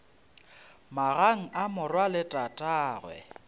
magang a morwa le tatagwe